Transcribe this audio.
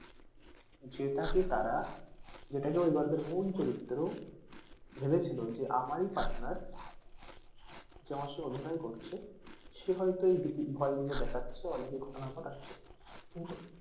যেটাকে তারা যেটাকে ওই গল্পের মূল চরিত্র ভেবেছিলো যে আমারি partner যে আমার সঙ্গে অভিনয় করছে সে হয়তো এই ভুতের ভয় গুলো দেখাচ্ছে অনেকে ঘটনা ঘটাচ্ছে কিন্তু